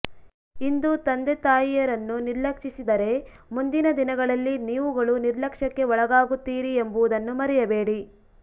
ಇಂದು ತಂದೆ ತಾಯಿಯರನ್ನು ನಿರ್ಲಕ್ಷಿಸಿದರೆ ಮುಂದಿನ ದಿನಗಳಲ್ಲಿ ನೀವುಗಳು ನಿರ್ಲಕ್ಷ್ಯಕ್ಕೆ ಒಳಗಾಗುತ್ತೀರಿ ಎಂಬುದನ್ನು ಮರೆಯಬೇಡಿ